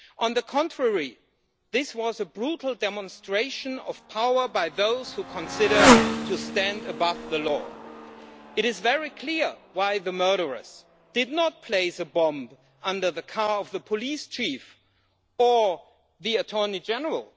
On the contrary, this was a brutal demonstration of power by those who consider themselves above the law. It is very clear why the murderers did not place a bomb under the car of the police chief or the attorney general.